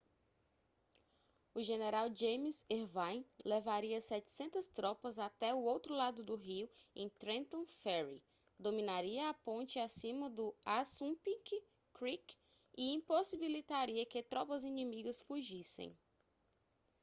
o general james erwin levaria 700 tropas até o outro lado do rio em trenton ferry dominaria a ponte acima do assunpink creek e impossibilitaria que tropas inimigas fugissem